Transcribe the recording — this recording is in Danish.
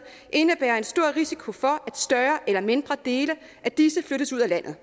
indebærer en stor risiko for at større eller mindre dele af disse flyttes ud af landet